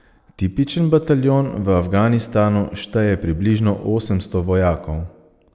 Tipičen bataljon v Afganistanu šteje približno osemsto vojakov.